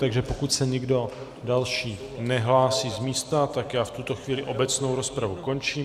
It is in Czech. Takže pokud se někdo další nehlásí z místa, tak já v tuto chvíli obecnou rozpravu končím.